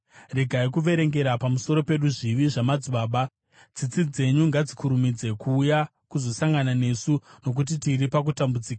Regai kuverengera pamusoro pedu zvivi zvamadzibaba; tsitsi dzenyu ngadzikurumidze kuuya kuzosangana nesu, nokuti tiri pakutambudzika.